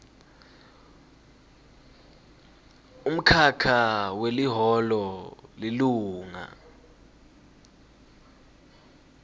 umkhakha weliholo lilunga